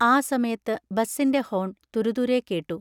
ആ സമയത്ത് ബസ്സിന്റെ ഹോൺ തുരുതുരെ കേട്ടു.